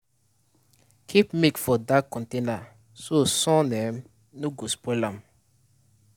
keep milk for dark container so sun um no go spoil am.